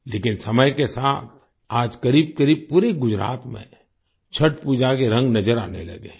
लेकिन समय के साथ आज करीबकरीब पूरे गुजरात में छठ पूजा के रंग नज़र आने लगे हैं